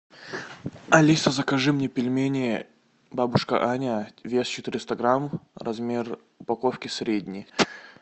алиса закажи мне пельмени бабушка аня вес четыреста грамм размер упаковки средний